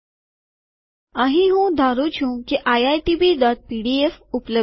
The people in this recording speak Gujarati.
અહીં હું ધારું છું કે આઈઆઈટીબીપીડીફ iitbપીડીએફ ઉપલબ્ધ છે